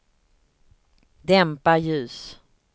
dämpa ljus